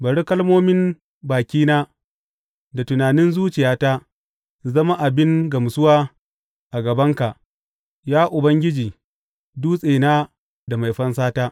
Bari kalmomin bakina da tunanin zuciyata su zama abin gamsuwa a gabanka, Ya Ubangiji, Dutsena da Mai fansata.